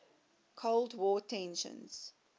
cold war tensions